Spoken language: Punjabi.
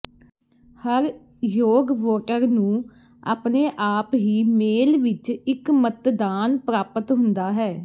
ਹਰ ਯੋਗ ਵੋਟਰ ਨੂੰ ਆਪਣੇ ਆਪ ਹੀ ਮੇਲ ਵਿੱਚ ਇੱਕ ਮਤਦਾਨ ਪ੍ਰਾਪਤ ਹੁੰਦਾ ਹੈ